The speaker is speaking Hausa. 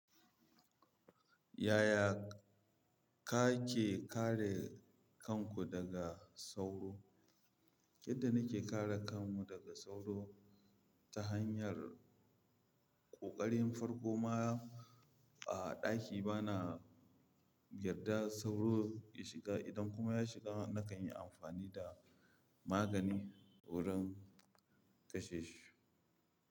Yaya kake kare kanku daga sauro? Yadda nake kare kanmu daga sauro, ta hanyar, ƙoƙarin farko ma, a ɗaki bana, yadda sauro ya shiga, idan kuma ya shiga nakan yi amfani da magani wurin kashe shi.